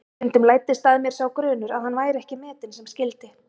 Stundum læddist að mér sá grunur að hann væri ekki metinn sem skyldi.